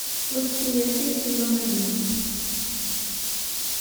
восприятие сезон один